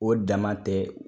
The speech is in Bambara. O dama tɛ